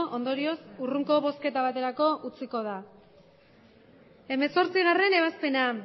ondorioz hurrengoko bozketa baterako utziko da hemezortzigarrena ebazpena